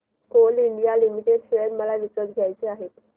Coal India limited share मला विकत घ्यायचे आहेत